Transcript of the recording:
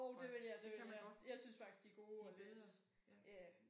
Nåh det kan man godt. De er bedre ja